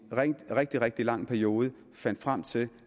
rigtig rigtig lang periode og fandt frem til